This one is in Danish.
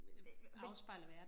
Øh men